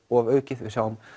ofaukið við sjáum